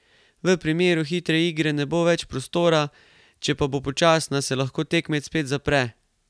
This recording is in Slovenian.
V primeru hitre igre bo več prostora, če pa bo počasna, se lahko tekmec spet zapre.